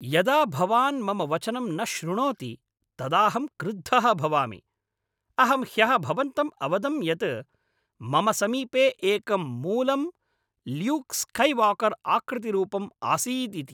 यदा भवान् मम वचनं न श्रुणोति तदाहं क्रुद्धः भवामि, अहं ह्यः भवन्तं अवदं यत् मम समीपे एकं मूलं ल्यूक् स्कैवाकर् आकृतिरूपंम् आसीदिति।